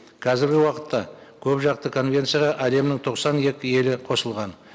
қазіргі уақытта көпжақты конвенцияға әлемнің тоқсан екі елі қосылған